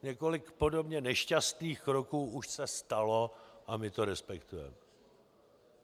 Několik podobně nešťastných kroků už se stalo a my to respektujeme.